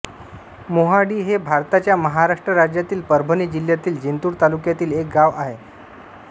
मोहाडी हे भारताच्या महाराष्ट्र राज्यातील परभणी जिल्ह्यातील जिंतूर तालुक्यातील एक गाव आहे